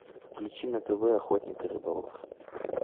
включи на тв охотник и рыболов